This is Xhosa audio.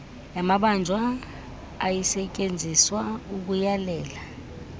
yamabanjwa ayisetyenziswa ukuyalela